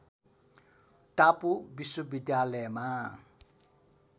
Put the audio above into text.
टापु विश्वविद्यालयमा